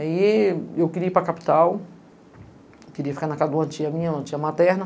Aí, eu queria ir para a capital, queria ficar na casa de uma tia minha, uma tia materna.